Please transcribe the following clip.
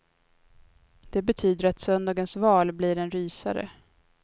Det betyder att söndagens val blir en rysare.